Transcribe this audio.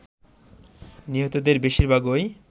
নিহতদের বেশিরভাগই